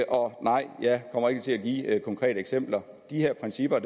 og nej jeg kommer ikke til at give konkrete eksempler de her principper